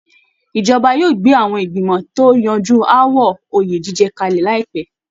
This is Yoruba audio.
Ìjọba yóò gbé àwọn ìgbìmọ̀ tó ń yanju aáwọ̀ oyè jíjẹ kalẹ̀ láìpẹ́